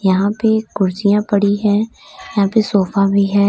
यहां पे कुर्सियां पड़ी हैं यहां पे सोफा भी है।